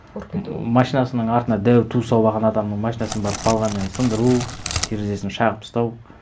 ұрып кету машинасының артына дәу ту салып алған адамның машинасын барып балғамен сындыру терезесін шағып тастау